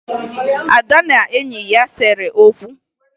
Ada na enyi ya sere okwu